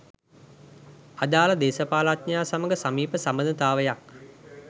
අදාළ දේශපාලනඥයා සමග සමීප සබඳතාවයක්